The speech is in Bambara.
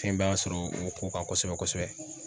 Fɛnba ka sɔrɔ o ko kan kosɛbɛ kosɛbɛ.